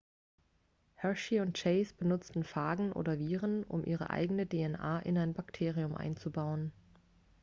hershey und chase benutzten phagen oder viren um ihre eigene dna in ein bakterium einzubauen